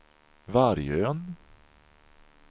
Vargön